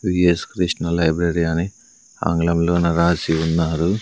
VS Krishna library అని ఆంగ్లంలోన రాసి ఉన్నారు.